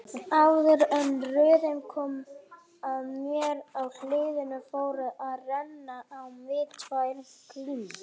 Áður en röðin kom að mér í hliðinu fóru að renna á mig tvær grímur.